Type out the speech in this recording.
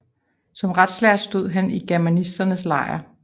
Som retslærd stod han i germanisternes lejr